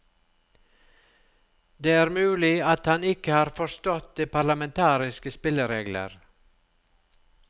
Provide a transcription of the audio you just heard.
Det er mulig at han ikke har forstått de parlamentariske spilleregler.